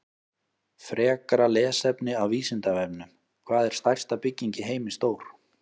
Frekra lesefni af Vísindavefnum: Hvað er stærsta bygging í heimi stór?